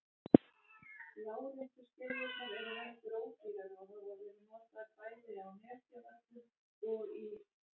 Láréttu skiljurnar eru heldur ódýrari og hafa verið notaðar bæði á Nesjavöllum og í